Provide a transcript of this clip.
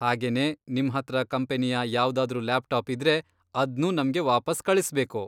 ಹಾಗೆನೇ ನಿಮ್ಹತ್ರ ಕಂಪನಿಯ ಯಾವ್ದಾದ್ರೂ ಲ್ಯಾಪ್ಟಾಪ್ ಇದ್ರೆ ಅದ್ನೂ ನಮ್ಗೆ ವಾಪಸ್ ಕಳಿಸ್ಬೇಕು.